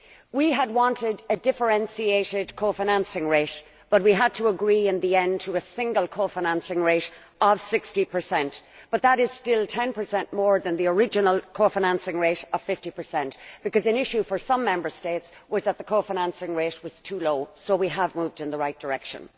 We had wanted a differentiated co financing rate, but we had to agree in the end to a single co financing rate of 60 but that is still 10 more than the original co financing rate of 50, because an issue for some Member States was that the cofinancing rate was too low, so we have moved in the right direction.